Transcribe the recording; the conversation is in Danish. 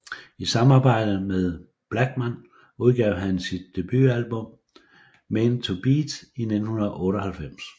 I samarbejde med Blachman udgav han sit debutalbum Men To Beat i 1998